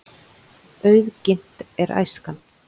Auðginnt er æskan.